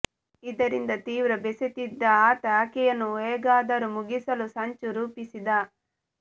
ಇದರಿಂದ ತೀವ್ರ ಬೇಸತ್ತಿದ್ದ ಆತ ಆಕೆಯನ್ನು ಹೇಗಾದರೂ ಮುಗಿಸಲು ಸಂಚು ರೂಪಿಸಿದ